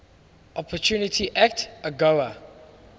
opportunity act agoa